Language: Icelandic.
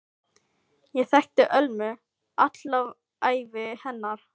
Ég þekkti Ölmu alla ævi hennar.